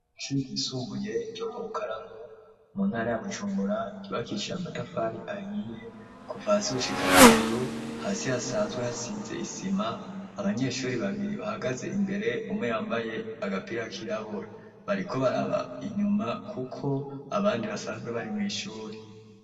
Ishure ryisumbuye ryo mu Rukaramu mu ntara ya Bujumbura, ryubakishije amatafari ahiye kuva hasi gushika hejuru, hasi hasanzwe hasize isima, abanyeshuri babiri bahagaze imbere, umwe yambaye agapira kirabura, bariko baraba inyuma kuko abandi basanzwe bari mw'ishure.